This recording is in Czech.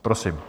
Prosím.